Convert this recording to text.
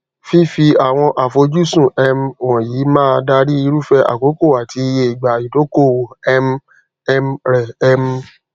fífi àwọn àfojúsùn um wọnyí máa dári irúfẹ àkókò àti iye ìgbà ìdókòòwò um um rẹ um